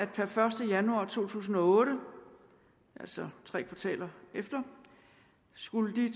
per første januar to tusind og otte altså tre kvartaler efter skulle